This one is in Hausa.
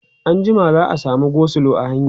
anjima za'a samu go slow a hanya?